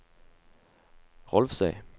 Rolvsøy